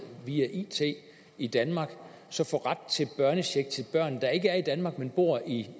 via it i danmark og så få ret til børnecheck til børn der ikke er i danmark men bor i